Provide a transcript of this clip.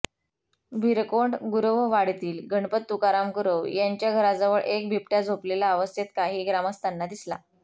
भिरकोंड गुरववाडीतील गणपत तुकाराम गुरव यांच्या घराजवळ एक बिबट्या झोपलेल्या अवस्थेत काही ग्रामस्थांना दिसला